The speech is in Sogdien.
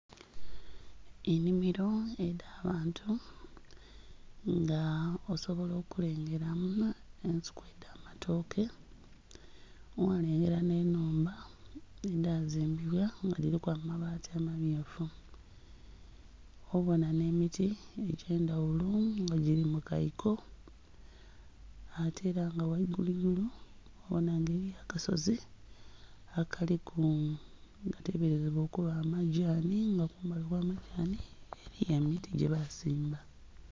Enhimiro edha bantu nga osobola okulengera mu nhe ensuku edha matoke gha lengera nhe nhumba edha zimbibwa nga dhilimu amabati ama myufu, obonha nhe miti age'ndhaghulo nga gili mu kaiko ate nga ghaigulu igulu ghaligho akasozi akalimu agateberezebwa okuba amadhani nga kumbali okwa madhani eriyo emiti gye bazimba.